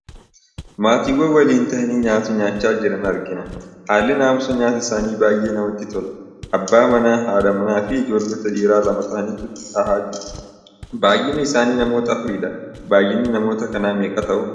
Maatiiwwan waliin tahanii nyaata nyaachaa jiran argina. Haalli naamusa nyaataa isaanii baay'ee namatti tola. Abbaa manaa, haadha manaa fi ijoollota dhiiraa lama tahanii tahaa jiru. Baay'inni isaanii namoota afuriidha. baay'inni namoota kanaa meeqa ta'u?